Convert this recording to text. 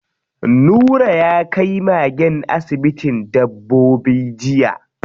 Nura ya kai magen asibitin dabbobi jiya.